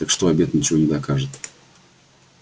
так что обед ничего не докажет